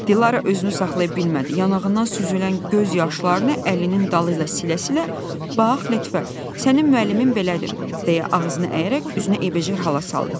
Dilara özünü saxlaya bilmədi, yanağından süzülən göz yaşlarını əlinin dalı ilə silə-silə, bax Lətifə, sənin müəllimin belədir, deyə ağzını əyərək üzünə eybəcər hala saldı.